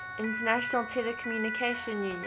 international telecommunication union